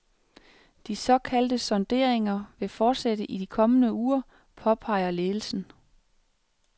Disse såkaldte sonderinger vil fortsætte i de kommende uger, påpeger ledelsen.